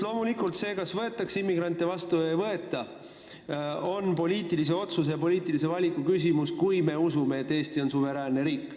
Loomulikult on see, kas võetakse immigrante vastu või ei võeta, poliitilise valiku, poliitilise otsuse küsimus, kui Eesti on suveräänne riik.